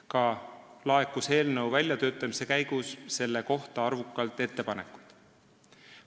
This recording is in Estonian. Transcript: Ka laekus eelnõu väljatöötamise käigus selle kohta arvukalt ettepanekuid.